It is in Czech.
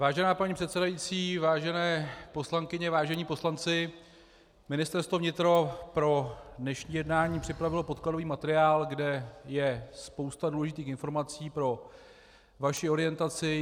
Vážená paní předsedající, vážené poslankyně, vážení poslanci, Ministerstvo vnitra pro dnešní jednání připravilo podkladový materiál, kde je spousta důležitých informací pro vaši orientaci.